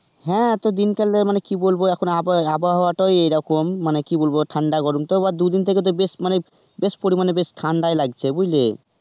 হ্যাঁ তো দিনকাল আর মানে কি বলবো ~আবহাওয়াটাই এই রকম মানে কি বলব ঠান্ডা-গরম, দুদিন ধরে তো বেশ পরিমাণে বেশ ঠান্ডাই লাগছে বুঝলে.